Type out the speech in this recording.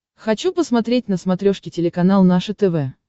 хочу посмотреть на смотрешке телеканал наше тв